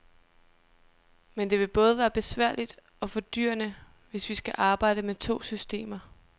Men det vil både være besværligt og fordyrende, hvis vi skal arbejde med to systemer.